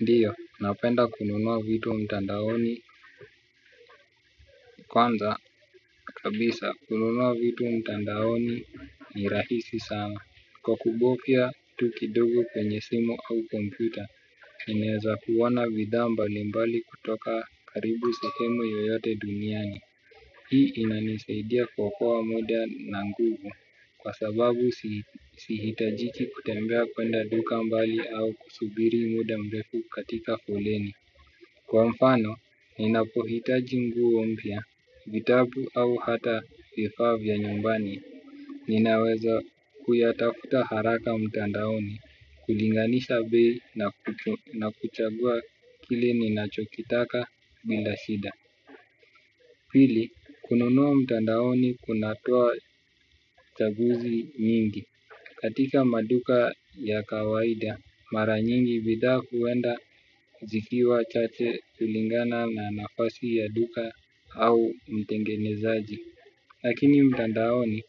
Ndiyo, napenda kununua vitu mtandaoni. Kwanza, kabisa, kununua vitu mtandaoni ni rahisi sana. Kwa kubofya, tu kidogo kwenye simu au kompyuta ninaeza kuona bidhaa mbalimbali kutoka karibu sehemu yoyote duniani. Hii inanisaidia kuokoa muda na nguvu. Kwa sababu si sihitajiki kutembea kwenda duka mbali au kusubiri muda mrefu katika foleni. Kwa mfano, ninapohitaji nguo mpya, vitabu au hata vifaa vya nyumbani, ninaweza kuyatafuta haraka mtandaoni, kulinganisha bei na kuchagua kile ninachokitaka bila shida. Pili, kununua mtandaoni kunatoa chaguzi nyingi. Katika maduka ya kawaida, mara nyingi bidhaa huenda kuzikiwa chache kulingana na nafasi ya duka au mtengenezaji. Lakini mtandaoni,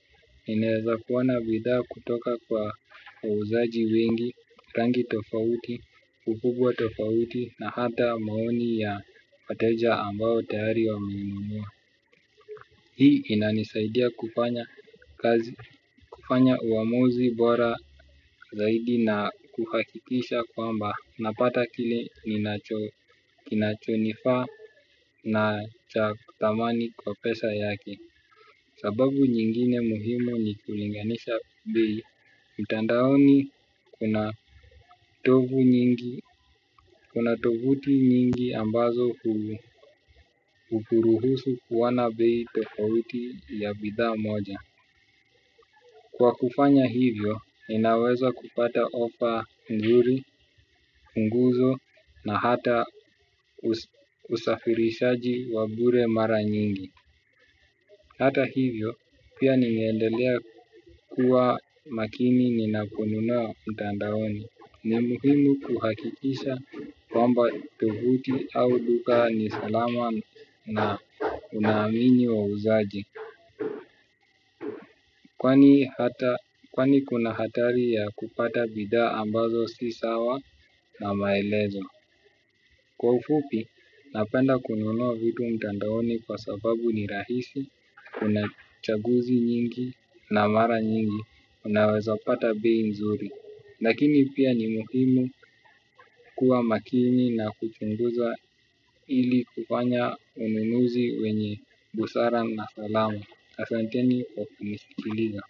ninaeza kuona bidhaa kutoka kwa wauzaji wengi, rangi tofauti, ukubwa tofauti na hata maoni ya wateja ambao tayari wameinunua. Hii inanisaidia kufanya kazi, kufanya uamuzi bora zaidi na kuhakikisha kwamba, napata kile kinachonifaa na cha thamani kwa pesa yake. Sababu nyingine muhimu ni kulinganisha bei, mtandaoni kuna tovu nyingi, kuna tovuti nyingi ambazo hukuruhusu kuona bei tofauti ya bidhaa moja. Kwa kufanya hivyo, ninaweza kupata ofa nzuri, punguzo na hata usafirishaji wa bure mara nyingi. Hata hivyo, pia nimeendelea kuwa makini ninaponunua mtandaoni. Ni muhimu kuhakikisha kwamba tovuti au duka ni salama na unaamini wauzaji. Kwani kuna hatari ya kupata bidhaa ambazo si sawa na maelezo. Kwa ufupi, napenda kununua vitu mtandaoni kwa sababu ni rahisi, kuna chaguzi nyingi na mara nyingi, unaweza pata bei nzuri. Lakini pia ni muhimu kuwa makini na kuchunguza ili kufanya ununuzi wenye busara na salama. Asanteni kwa kunisikiliza.